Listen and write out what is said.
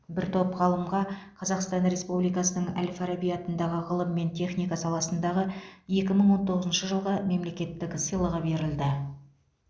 бір топ ғалымға қазақстан республикасының әл фараби атындағы ғылым мен техника саласындағы екі мың он тоғызыншы жылғы мемлекеттік сыйлығы берілді